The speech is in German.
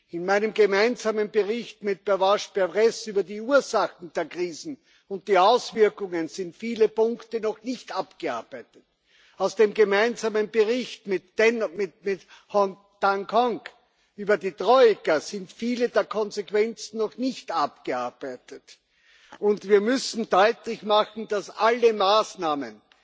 In meinem gemeinsamen Bericht mit Pervenche Berès über die Ursachen der Krisen und die Auswirkungen sind viele Punkte noch nicht abgearbeitet. Aus dem gemeinsamen Bericht mit Liem Hoang Ngoc über die Troika sind viele der Konsequenzen noch nicht abgearbeitet. Und wir müssen deutlich machen, dass alle Maßnahmen,